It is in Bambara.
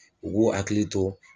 U b'u hakili to